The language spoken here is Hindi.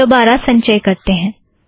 दोबारा संचय करते हैं